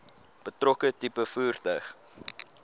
betrokke tipe voertuig